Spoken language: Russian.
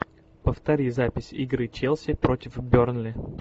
повтори запись игры челси против бернли